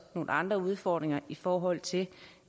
nogle andre udfordringer i forhold til